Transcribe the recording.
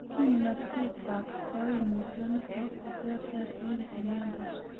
Kimnotetab koimutioniton koter ter en chemiondos.